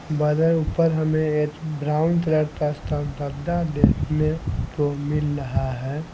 बादर ऊपर हमें ब्राउन कलर का देखने को मिल रहा है।